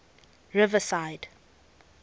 riverside